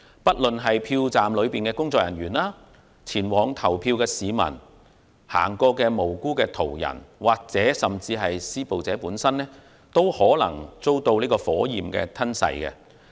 不論是票站內的工作人員、前往投票的市民、路過的無辜途人或是施暴者本身，均有可能遭到火燄吞噬。